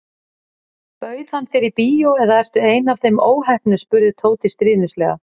Bauð hann þér í bíó eða ertu ein af þeim óheppnu spurði Tóti stríðnislega.